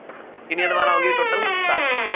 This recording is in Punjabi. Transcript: ਕਿੰਨੀਆਂ ਦੀਵਾਰਾਂ ਹੋ ਗਈਆਂ total ਸੱਠ,